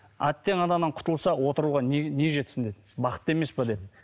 әттең анадан құтылсақ отыруға не не жетсін деді бақыт емес пе деді